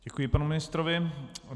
Děkuji panu ministrovi.